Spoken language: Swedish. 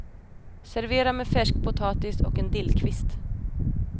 Servera med färsk potatis och en dillkvist.